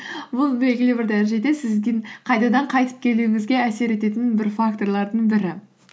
бұл белгілі бір дәрежеде сіздің қайтадан қайтып келуіңізге әсер ететін бір факторлардың бірі